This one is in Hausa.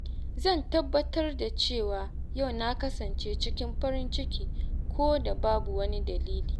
Zan tabbatar da cewa yau na kasance cikin farin ciki ko da Babu wani dalili.